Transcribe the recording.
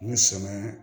Ni sɛgɛn